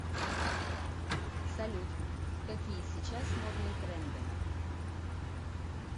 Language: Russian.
салют какие сейчас модные тренды